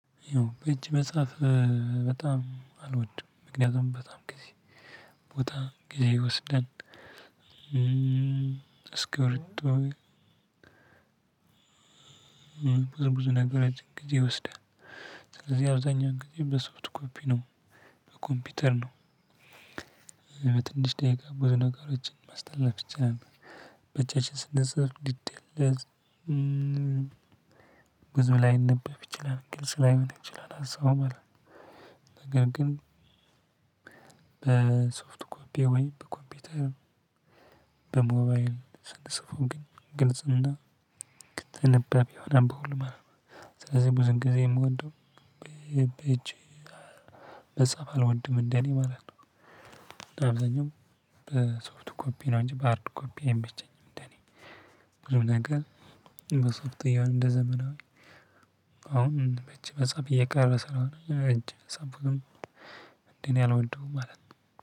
እጅ መጽሐፍ በጣም አልወድም ምክንያቱም በጣም ከዚህ ቦታ ጊዜ ይወስዳል። እስክብርቶ ብዙ ብዙ ነገር እንግዲህ ይወስዳል። እዚህ አብዛኛው ጊዜ በሶፍት ኮፒ ነው በኮምፒውተር ነው። በትንሽ ደቂቃ ብዙ ነገሮችን ማስተላለፍ ይቻላል። በጃችን ስንጽፍ ሊደለት ብዙ ላይነበብ ይችላል ግልጽ ላይሆን ይችላል ሀሳቡ ማለት ነው። ነገር ግን በሶፍት ኮፒ ወይ በኮምፒተር። በሞባይል ስንጽፈው ግን ግልጽና ተንባቢ ይሆናል በሁሉም ማለት ነው። ስለዚህ ብዙን ጊዜ የምወድው በእጄ መጻፍ አልወድም እንደኔ ማለት ነው። አብዛኛው በሶፍት ኮፒ ነው እንጂ በሃርድ ኮፒ አይመቸኝም። እንደኔ በጣም በጣም በጣም እንደ ዘመናዊ አሁን በእጅ መጻፍ እየቀረ ስለሆነ እንጂ ሰምበው ምንድነው? አልወደውም ማለት ነው።